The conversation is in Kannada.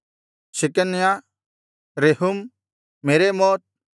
Shecaniah Rehum ಮೆರೇಮೋತ್